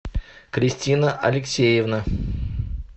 кристина алексеевна